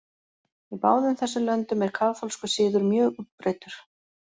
Í báðum þessum löndum er kaþólskur siður mjög útbreiddur.